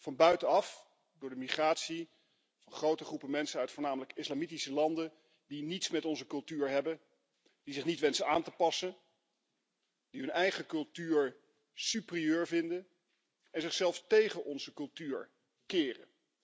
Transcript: Van buitenaf door de migratie van grote groepen mensen uit voornamelijk islamitische landen die niets met onze cultuur hebben, die zich niet wensen aan te passen, die hun eigen cultuur superieur vinden en zichzelf tegen onze cultuur keren.